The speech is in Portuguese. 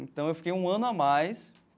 Então, eu fiquei um ano a mais.